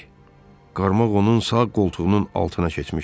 Qarmaq onun sağ qoltuğunun altına keçmişdi.